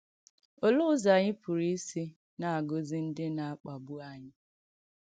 Òlee ùzọ̀ ànyị̀ pùrù isì na-agọ̀zì ndí na-akpàgbù ànyị̀?